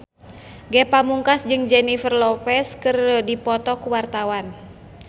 Ge Pamungkas jeung Jennifer Lopez keur dipoto ku wartawan